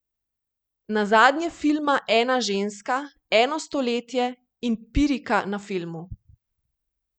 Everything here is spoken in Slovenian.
Nazadnje filma Ena ženska, eno stoletje in Pirika na filmu.